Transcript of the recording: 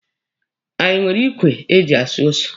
Anyị nwere ikwe eji asụ ose?